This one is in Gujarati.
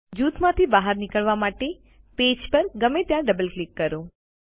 જૂથમાંથી બહાર નીકળવા માટે પેજ પર ગમે ત્યાં ડબલ ક્લિક કરો